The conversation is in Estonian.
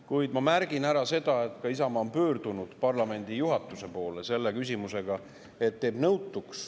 Kuid ma märgin ära, et Isamaa on pöördunud parlamendi juhatuse poole küsimusega, mis teeb nõutuks.